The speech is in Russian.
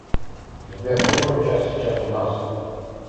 сбер который час сейчас у нас